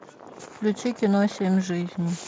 включи кино семь жизней